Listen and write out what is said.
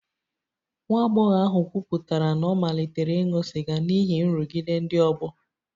Nwa agbọghọ ahụ kwupụtara na ọ malitere ịṅụ sịga n'ihi nrụgide ndị ọgbọ